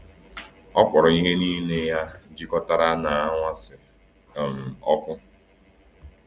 Ọ kpọọrọ ihe niile ya jikọtara na anwansi um ọkụ.